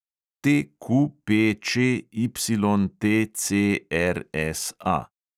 TQPČYTCRSA